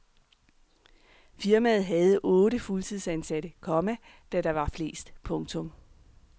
Firmaet havde otte fuldtidsansatte, komma da der var flest. punktum